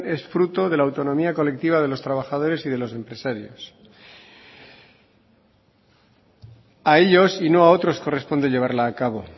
es fruto de la autonomía colectiva de los trabajadores y de los empresarios a ellos y no a otros corresponde llevarla a cabo